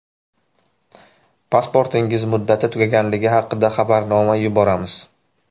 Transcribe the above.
Pasportingiz muddati tugaganligi haqida xabarnoma yuboramiz!.